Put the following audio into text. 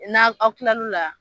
N'a aw kilal'o la